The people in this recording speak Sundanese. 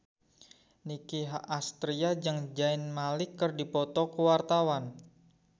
Nicky Astria jeung Zayn Malik keur dipoto ku wartawan